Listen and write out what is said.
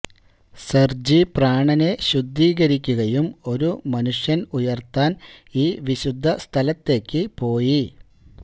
Sergey പ്രാണനെ ശുദ്ധീകരിക്കുകയും ഒരു മനുഷ്യൻ ഉയർത്താൻ ഈ വിശുദ്ധ സ്ഥലത്തേക്കു പോയി